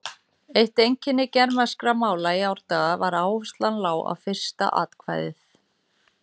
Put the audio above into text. Eitt einkenni germanskra mála í árdaga var að áhersla lá á fyrsta atkvæði.